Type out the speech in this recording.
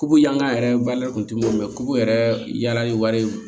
Ku yangan yɛrɛ balima kun tɛ yɛrɛ yaala ni wari ye